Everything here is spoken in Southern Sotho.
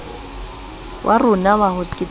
wa rona wa ho keteka